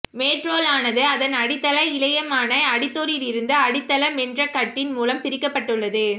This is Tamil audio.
மேற்றோலானது அதன் அடித்தள இழையமான அடித்தோலிலிருந்து அடித்தள மென்றகட்டின் மூலம் பிரிக்கப்பட்டுள்ளது